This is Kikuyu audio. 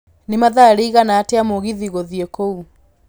nĩ mathaa riĩgana atĩa mũgithi gũthiĩ kũu